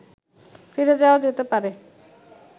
ফিরে যাওয়া যেতে পারে